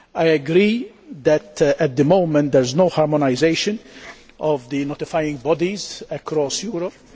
I agree that at the moment there is no harmonisation of the notifying bodies across Europe.